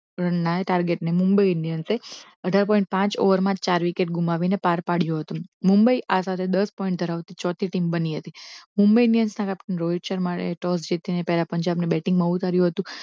નવા target ને મુંબઈ ઇન્ડિયનસે અઠાર point પાંચ ઓવરમાં ચાર વિકેટ ગુમાવીને પાર પાડ્યો હતો મુંબઈ આ સાથે દસ point ધરાવતી ચોથી team બની હતી મુંબઈ ઈન્ડીયન્સના captain રોહિત શર્મા એ toss જીતીને પહેલા પંજાબને batting માં ઉતાર્યું હતું